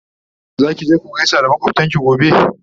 Zaki je ku gaisa makwaftanki gobe?